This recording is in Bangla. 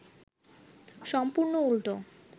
সম্পূর্ন উল্টো